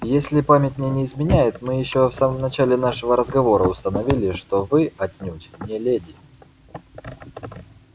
если память мне не изменяет мы ещё в самом начале нашего разговора установили что вы отнюдь не леди